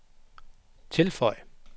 tilføj